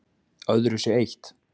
Öðru sé eytt